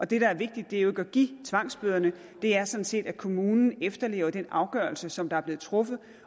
det der er vigtigt er jo ikke at give tvangsbøderne det er sådan set at kommunen efterlever den afgørelse som er blevet truffet